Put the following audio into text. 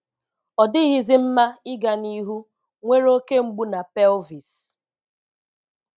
Ọ dịghịzi mma ịga n'ihu, nwere oke mgbu na pelvis.”